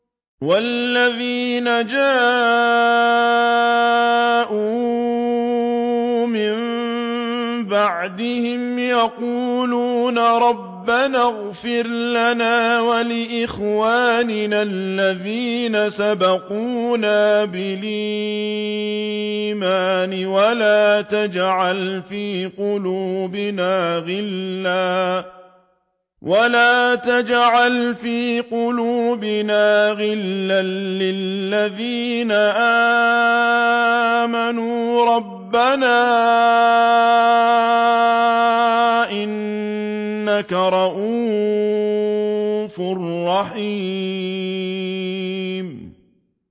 وَالَّذِينَ جَاءُوا مِن بَعْدِهِمْ يَقُولُونَ رَبَّنَا اغْفِرْ لَنَا وَلِإِخْوَانِنَا الَّذِينَ سَبَقُونَا بِالْإِيمَانِ وَلَا تَجْعَلْ فِي قُلُوبِنَا غِلًّا لِّلَّذِينَ آمَنُوا رَبَّنَا إِنَّكَ رَءُوفٌ رَّحِيمٌ